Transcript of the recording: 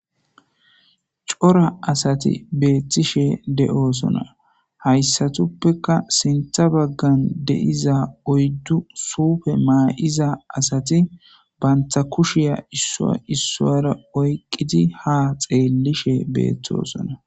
Cora asathi beeththishe de7oosona;hayssatuppekka sinththa baggan de7iya iza oydu suufe ma7iza asathi banththa kishiya issuwa issuwaara oyqqidi haa xeellishe beeththoosona.